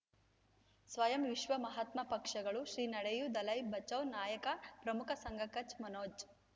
ಸ್ವಯಂ ವಿಶ್ವ ಮಹಾತ್ಮ ಪಕ್ಷಗಳು ಶ್ರೀ ನಡೆಯೂ ದಲೈ ಬಚೌ ನಾಯಕ ಪ್ರಮುಖ ಸಂಘ ಕಚ್ ಮನೋಜ್